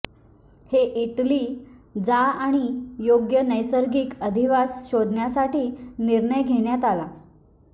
हे इटली जा आणि योग्य नैसर्गिक अधिवास शोधण्यासाठी निर्णय घेण्यात आला